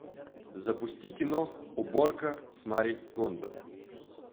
запусти кино уборка с мари кондо